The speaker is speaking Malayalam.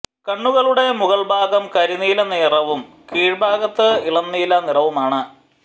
കണ്ണുകളുടെ മുകൾഭാഗം കരിനീല നിറവും കീഴ്ഭാഗത്തിന് ഇളം നീല നിറവുമാണ്